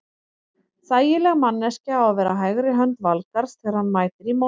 Þægileg manneskja á að vera hægri hönd Valgarðs þegar hann mætir í móttökuna.